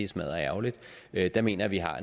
smadderærgerligt jeg mener vi har